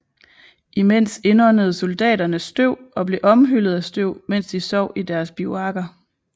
Imens indåndede soldaterne støv og blev omhyllet af støv mens de sov i deres bivuakker